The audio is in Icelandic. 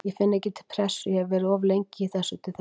Ég finn ekki til pressu, ég hef verið of lengi í þessu til þess.